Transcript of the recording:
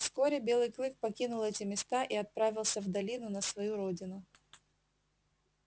вскоре белый клык покинул эти места и отправился в долину на свою родину